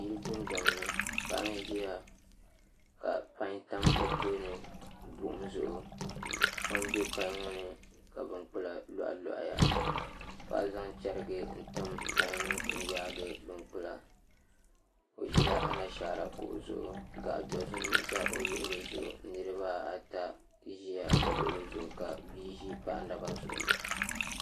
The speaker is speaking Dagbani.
Yili dundɔŋni paɣi n ʒia ka panyi tam o tooni buɣum zuɣu kpam be panyi ŋɔni ka bin kpula lohilohi paɣi zan chɛrigu n tim panyi n yaagi bin kpula o ʒila ana shaarakuɣu zuɣu gaɣi dozim ʒa o luɣuli zuɣu nirbaa ata ʒa o luɣuli zuɣiu niri baa ata ziya o luɣuli zuɣu ka bii ʒi paɣa naba zuɣu